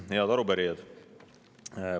Head arupärijad!